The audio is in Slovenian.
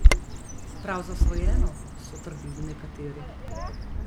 Prav zasvojeno, so trdili nekateri.